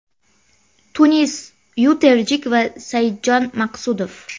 Tunis Yuterjik va Saidjon Maqsudov.